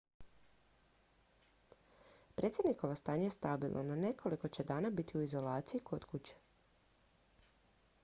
predsjednikovo stanje je stabilno no nekoliko će dana biti u izolaciji kod kuće